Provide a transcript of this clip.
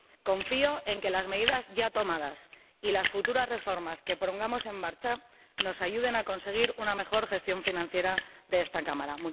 Confío en que las medidas ya tomadas y las futuras reformas que pongamos en marcha nos ayuden a conseguir una mejor gestión financiera de esta Cámara.